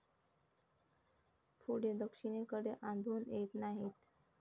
पुढे दक्षिण कडे आढळून येत नाहीत.